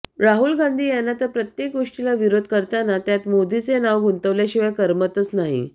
राहुल गांधी यांना तर प्रत्येक गोष्टीला विरोध करताना त्यात मोदीचे नाव गुंतवल्याशिवाय करमतच नाही